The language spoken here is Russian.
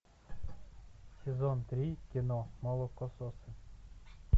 сезон три кино молокососы